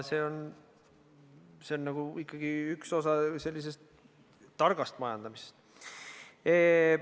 See on ikkagi üks osa targast majandamisest.